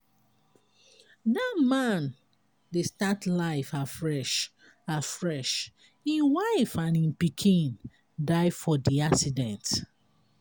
dat man dey start life afresh afresh im wife and im pikin die for di accident.